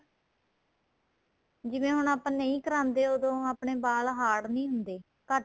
ਜਿਵੇਂ ਹੁਣ ਆਪਾਂ ਨਹੀਂ ਕਰਾਦੇ ਉਦੋਂ ਆਪਣੇਂ ਵਾਲ hard ਨਹੀਂ ਹੁੰਦੇ ਘੱਟ